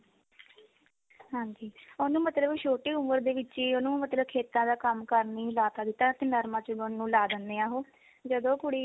ਹਾਂਜੀ ਉਹਨੂੰ ਮਤਲਬ ਛੋਟੀ ਉਮਰ ਦੇ ਵਿੱਚ ਹੀ ਉਹਨੂੰ ਮਤਲਬ ਖੇਤਾਂ ਦਾ ਕੰਮ ਕਰਨੀ ਲਾ ਤਾਂ ਦਿੱਤਾ ਤੇ ਨਰਮਾ ਚੁਗਣ ਲਾ ਦਿੰਦੇ ਆ ਉਹ ਜਦੋਂ ਉਹ ਕੁੜੀ